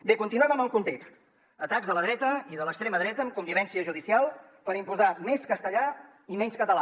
bé continuem amb el context atacs de la dreta i de l’extrema dreta amb connivència judicial per imposar més castellà i menys català